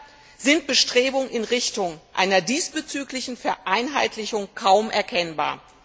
Leider sind Bestrebungen in Richtung einer diesbezüglichen Vereinheitlichung kaum erkennbar.